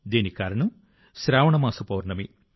దీనికి కారణం శ్రావణ మాస పౌర్ణమి